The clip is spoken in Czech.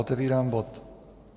Otevírám bod